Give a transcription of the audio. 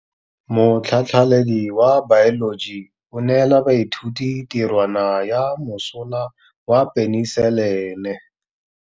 Motlhatlhaledi wa baeloji o neela baithuti tirwana ya mosola wa peniselene.